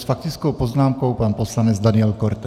S faktickou poznámkou pan poslanec Daniel Korte.